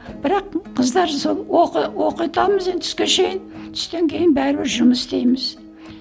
бірақ қыздар сол оқы оқытамыз енді түске шейін түстен кейін бәрібір жұмыс істейміз